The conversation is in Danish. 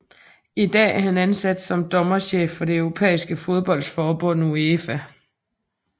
I dag er han ansat som dommerchef for det europæiske fodboldforbund UEFA